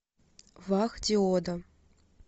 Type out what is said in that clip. вах диода